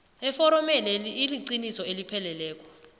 eforomeneli iliqiniso elipheleleko